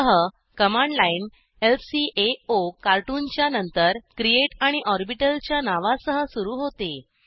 अतः command line ल्काओकार्टून च्या नंतर क्रिएट आणि ऑर्बिटल च्या नावा सह सुरू होते